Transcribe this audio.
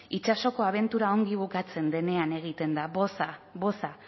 itsasoko abentura ongi bukatzen denean egiten da boza boza